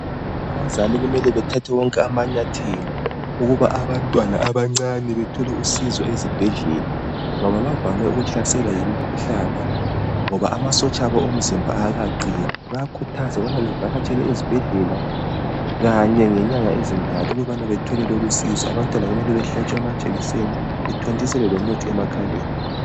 Abazali kumele bathathe wonke amanyathelo ukuba abantwana abancane bethole usizo ezibhedlela ngoba bavame ukuhlaselwa yimikhuhlane ngoba amasotsha abo omzimba awakaqini. Bayakhuthazwa ukubana bavakatshele ezibhedlela kanye ngenyanga ezintathu ukubana bathole lolusizo. Abantwana kumele bahlatshwe amajekiseni bethontiselwe lomuthi emakhaleni.